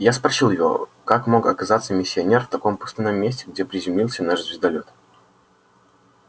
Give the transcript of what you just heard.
я спросил его как мог оказаться миссионер в таком пустынном месте где приземлился наш звездолёт